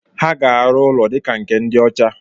Ha ga-arụ ụlọ dika nke ndị ọcha